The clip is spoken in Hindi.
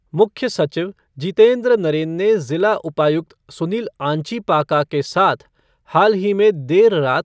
मुख्य सचिव जितेंद्र नरेन ने ज़िला उपायुक्त सुनील आंचीपाका के साथ हाल ही में देर रात